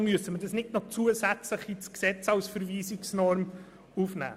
Deshalb müssen wir das nicht noch zusätzlich in das Gesetz als Verweisungsnorm aufnehmen.